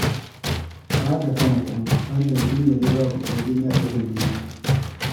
Ku haɗa kanku, hakan shi ne zai ba ku kwarjini a idon duniya